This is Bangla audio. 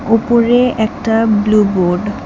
ওপরে একটা ব্লু বোর্ড ।